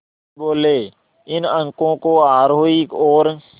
वे बोले इन अंकों को आरोही और